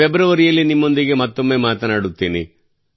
ಫೆಬ್ರವರಿಯಲ್ಲಿ ನಿಮ್ಮೊಂದಿಗೆ ಮತ್ತೊಮ್ಮೆ ಮಾತನಾಡುತ್ತೇನೆ